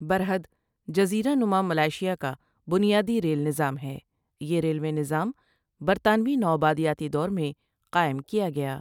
برحد جزیرہ نما ملائیشیا کا بنیادی ریل نطام ہے یہ ریلوے نظام برطانوی نوآبادیاتی دور میں قائم کیا گیا